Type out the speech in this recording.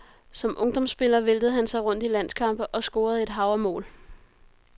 Som ungdomsspiller væltede han sig rundt i landskampe og scorede et hav af mål.